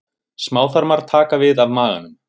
Smáþarmar taka við af maganum.